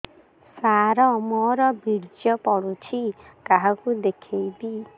ସାର ମୋର ବୀର୍ଯ୍ୟ ପଢ଼ୁଛି କାହାକୁ ଦେଖେଇବି